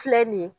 Filɛ nin ye